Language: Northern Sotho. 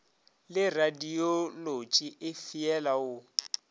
le radiolotši e feela o